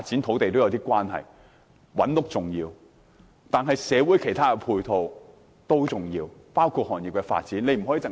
覓地建屋是重要的，但社會其他配套也重要，這包括行業發展。